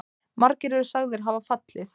Margir eru sagðir hafa fallið.